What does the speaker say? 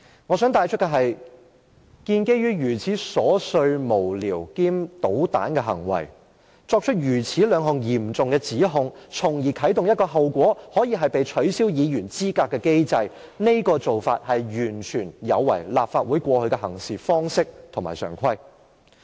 我想指出的是，基於一項如此瑣碎、無聊兼搗蛋的行為，作出兩項如此嚴重的指控，從而啟動一個後果可以是"被取消議員資格"的機制，這種做法完全有違立法會過去的行事方式和常規。